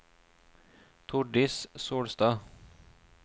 Tordis Solstad